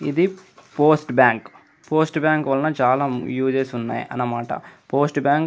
ఇది post bank post bank వలన చాల యూజెస్ ఉన్నాయి అన్నమాట పోస్ట్ బ్యాంక్ --